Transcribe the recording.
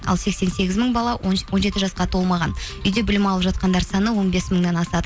ал сексен сегіз мың бала он жеті жасқа толмаған үйде білім алып жатқандар саны он бес мыңнан асады